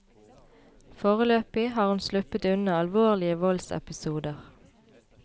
Foreløpig har hun sluppet unna alvorlige voldsepisoder.